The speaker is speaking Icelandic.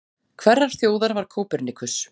Hverrar þjóðar var Kópernikus?